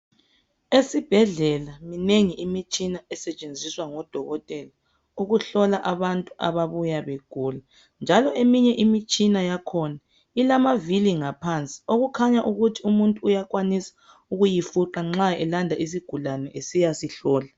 Esibhedlela imengi imitshina esetshenziswa ngodokothela ukuhlola abantu ababuya begula njalo eminye imitshina yakhona ilamavili ngaphansi okukhanya ukuthi umuntu uyakwanisa ukuyifuqa nxa elanda isigulane esiya sihlola